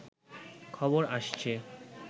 খবর আসছে